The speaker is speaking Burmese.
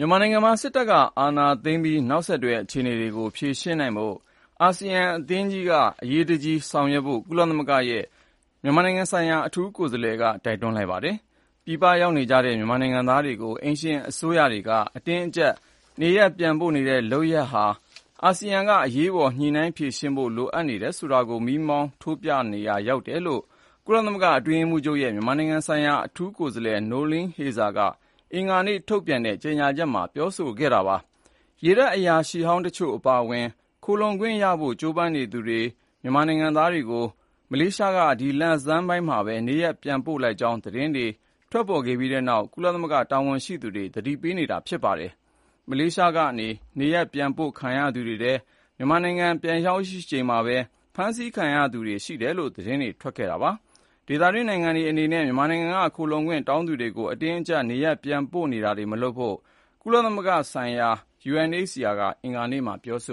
ြန်မာနိုင်ငံမှာ စစ်အာဏာသိမ်းပြီး နောက်ဆက်တွဲ အခြေအနေတွေကို ဖြေရှင်းနိုင်ဖို့ အရှေ့တောင်အာရှ နိုင်ငံများအသင်း (ASEAN) က အရေးတကြီး ဆောင်ရွက်ဖို့ ကုလသမဂ္ဂရဲ့ မြန်မာနိုင်ငံဆိုင်ရာ အထူးကိုယ်စားလှယ်က တိုက်တွန်းလိုက်ပါတယ်။ ပြည်ပရောက်နေတဲ့ မြန်မာနိုင်ငံသားတွေကို အိမ်ရှင်အစိုးရတွေက အတင်းအကျပ် နေရပ်ပြန်ပို့နေတဲ့ လုပ်ရပ်ဟာဆိုရင်လည်း အာဆီယံက အရေးပေါ် ညှိနှိုင်းဖြေရှင်းဖို့ လိုအပ်နေတယ်ဆိုတာကို မီးမောင်းထိုးပြရာ ရောက်နေတယ်လို့ ကုလသမဂ္ဂ အတွင်းရေးမှူးချုပ်ရဲ့ မြန်မာနိုင်ငံဆိုင်ရာ အထူးကိုယ်စားလှယ် Noeleen Heyzer က အင်္ဂါနေ့ ထုတ်ပြန်တဲ့ ကြေညာချက်မှာ ပြောဆိုခဲ့တာပါ။ ရေတပ် အရာရှိဟောင်းတချို့ အပါအဝင် ခိုလှုံခွင့်ရဖို့ ကြိုးပမ်းနေသူ မြန်မာနိုင်ငံသားတွေကို မလေးရှားက ဒီလဆန်းမှာပဲ နေရပ်ပြန်ပို့လိုက်ကြောင်း သတင်းတွေ ထွက်ပေါ်ခဲ့ပြီးနောက်မှာပဲ ကုလသမဂ္ဂ တာဝန်ရှိသူတွေ သတိပေးနေတာ ဖြစ်ပါတယ်။ မလေးရှားက နေရပ်ပြန်ပို့ခံရသူတွေထဲက မြန်မာနိုင်ငံ ပြန်ရောက်ချိန်မှာပဲ ဖမ်းဆီးခံခဲ့ရသူတွေ ရှိတယ်လို့လည်း သတင်းတွေ ထွက်ခဲ့တာပါ။ ဒေသတွင်းနိုင်ငံတွေ အနေနဲ့ မြန်မာနိုင်ငံက ခိုလှုံခွင့်တောင်းခံသူတွေကို အတင်းအကြပ် နေရပ်ပြန်ပို့တာတွေ မလုပ်ဖို့ ဒုက္ခသည်များဆိုင်ရာ ကုလသမဂ္ဂ မဟာမင်းကြီးရုံး (UNHCR) ကလည်း အင်္ဂါနေ့မှာပဲ ပြောဆ